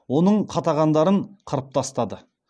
оның қатағандарын қырып тастады